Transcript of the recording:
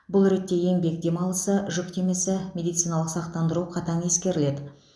бұл ретте еңбек демалысы жүктемесі медициналық сақтандыру қатаң ескеріледі